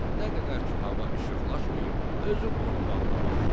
Nə qədər ki, hava işıqlaşmayıb, özüm onu bağda basdıracam.